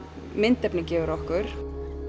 myndefnið gefur okkur